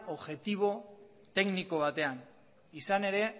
objektibo tekniko batean izan ere